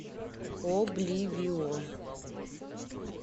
обливион